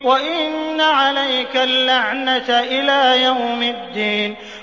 وَإِنَّ عَلَيْكَ اللَّعْنَةَ إِلَىٰ يَوْمِ الدِّينِ